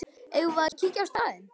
Eigum við að kíkja á staðinn?